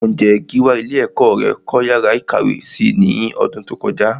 Ǹjé Gíwá ilé ẹ̀kọ́ rẹ kọ́ yàrá ìkàwé si ní ọdún tó kọjá?